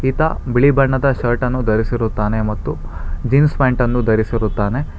ಈತ ಬಿಳಿ ಬಣ್ಣದ ಶರ್ಟ್ ಅನ್ನು ಧರಿಸಿರುತ್ತಾನೆ ಮತ್ತು ಜೀನ್ಸ್ ಪ್ಯಾಂಟ್ ಅನ್ನು ಧರಿಸಿರುತ್ತಾನೆ.